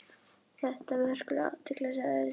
Þetta vekur athygli sagði Bjarni.